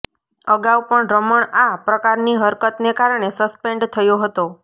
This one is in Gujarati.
અગાઉ પણ રમણ આ પ્રકારની હરતકને કારણે સસ્પેન્ડ થયો હતો